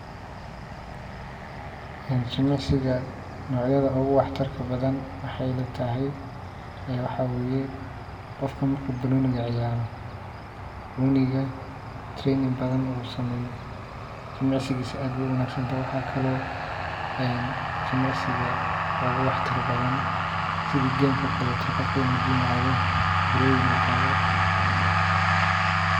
Jimicisga nocyada ogu wax tarka badan wexey ila tahay qofka marku banoniga ciyaro u (training) badan sameyo jimicisigisa aad bey ogu wanagsan tahay, waxa kalo jimicsiga ogu wax tar badan (gym) ka inu ado u biroyin qado .